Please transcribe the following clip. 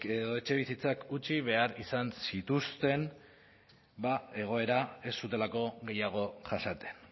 edo etxebizitzak utzi behar izan zituzten ba egoera ez zutelako gehiago jasaten